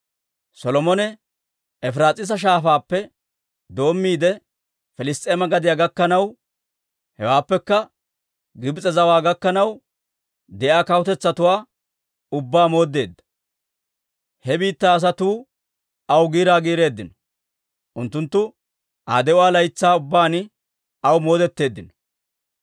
Solomone Efiraas'iisa Shaafaappe doommiide Piliss's'eema gadiyaa gakkanaw, hewaappekka Gibs'e zawaa gakkanaw de'iyaa kawutetsatuwaa ubbaa mooddeedda. He biittaa asatuu aw giiraa giireeddino; unttunttu Aa de'uwaa laytsaa ubbaan aw moodetteeddino.